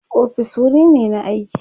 ofis wuri ne na aiki